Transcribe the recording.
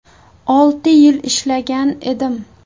Olti yil ishlagan edim.